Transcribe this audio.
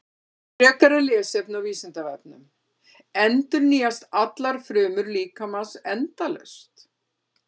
Frekara lesefni á Vísindavefnum: Endurnýjast allar frumur líkamans endalaust?